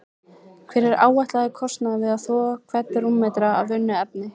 Hver er áætlaður kostnaður við að þvo hvern rúmmetra af unnu efni?